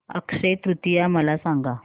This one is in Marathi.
अक्षय तृतीया मला सांगा